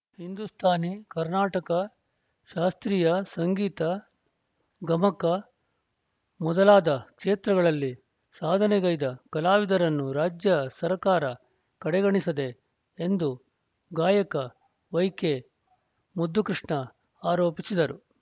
ಹಿಂದೂಸ್ತಾನಿ ಕರ್ನಾಟಕ ಶಾಸ್ತ್ರೀಯ ಸಂಗೀತ ಗಮಕ ಮೊದಲಾದ ಕ್ಷೇತ್ರಗಳಲ್ಲಿ ಸಾಧನೆಗೈದ ಕಲಾವಿದರನ್ನು ರಾಜ್ಯ ಸರ್ಕಾರ ಕಡೆಗಣಿಸದೆ ಎಂದು ಗಾಯಕ ವೈಕೆಮುದ್ದುಕೃಷ್ಣ ಆರೋಪಿಸಿದರು